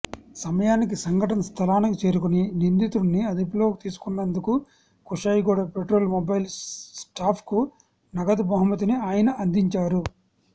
సమయానికి సంఘటన స్థలానికి చేరుకుని నిందితుడిని అదుపులోకి తీసుకున్నందుకు కుషాయిగూడ పెట్రోల్ మొబైల్ స్టాఫ్కు నగదు బహుమతిని ఆయన అందించారు